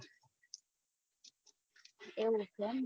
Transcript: એવું છે એમ ને